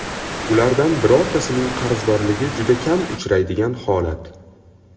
Ulardan birortasining qarzdorligi juda kam uchraydigan holat.